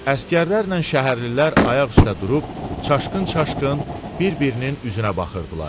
Əsgərlərlə şəhərlilər ayaq üstə durub çaşqın-çaşqın bir-birinin üzünə baxırdılar.